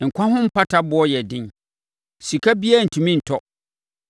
Nkwa ho mpata boɔ yɛ den, sika biara rentumi ntɔ,